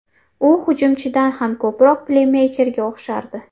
U hujumchidan ham ko‘proq pleymeykerga o‘xshardi.